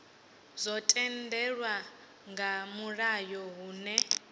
zwo tendelwa nga mulayo hune